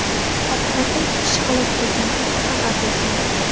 oqibatda ikki kishi halok bo‘lgani haqida xabar bergandik.